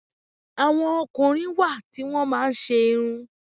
Àwọn ọkùnrin wá ti wọn máa ń ṣe irun.